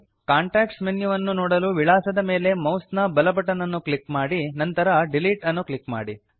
context menu ವನ್ನು ನೋಡಲು ವಿಳಾಸದ ಮೇಲೆ ಮೌಸ್ ನ ಬಲ ಬಟನ್ ಅನ್ನು ಕ್ಲಿಕ್ ಮಾಡಿ ನಂತರ ಡಿಲೀಟ್ ಅನ್ನು ಕ್ಲಿಕ್ ಮಾಡಿ